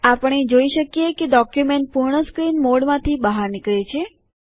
આપણે જોઇ શકીએ કે ડોક્યુમેન્ટ પૂર્ણ સ્ક્રીન મોડથી બહાર નીકળે છે